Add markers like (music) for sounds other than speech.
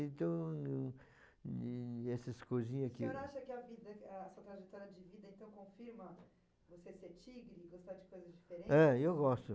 Então, (unintelligible) essas coisinhas aqui... O senhor acha que a vida ah, sua trajetória de vida então confirma você ser tigre? Você gosta de coisas diferentes? É, eu gosto.